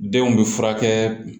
Denw bɛ furakɛ